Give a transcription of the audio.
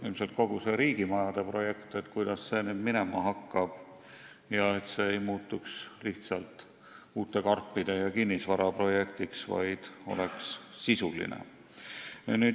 Nimelt, kogu see riigimajade projekt, et kuidas see nüüd minema hakkab ja et see ei muutuks lihtsalt uute karpide ja kinnisvara projektiks, vaid oleks sisuline.